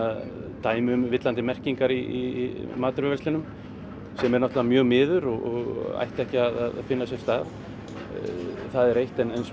dæmi um villandi merkingar í matvöruverslunum sem er náttúrulega mjög miður og ætti ekki að finna sér stað það er eitt en svo